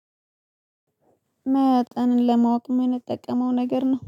መጠንን ለማወቅ የምንጠቀመው ነገር ነው።